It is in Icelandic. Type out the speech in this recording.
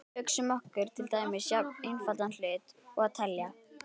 Hugsum okkur til dæmis jafn einfaldan hlut og að telja.